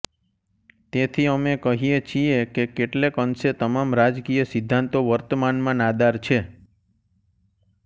તેથી અમે કહીએ છીએ કે કેટલેક અંશે તમામ રાજકીય સિદ્ધાંતો વર્તમાનમાં નાદાર છે